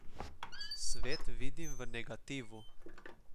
Svet vidim v negativu.